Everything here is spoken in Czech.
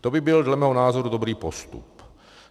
To by byl dle mého názoru dobrý postup.